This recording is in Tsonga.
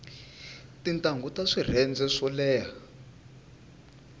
tintangu ta swirhenze swo leha